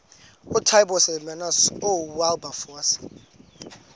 ootaaibos hermanus oowilberforce